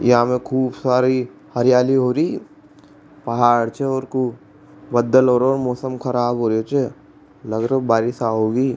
यहाँ मे खूब सारी हरियाली हो रही पहाड़ छ और खूब बदल होरा मौसम खराब होरा च लाग रो बारिश आवगी।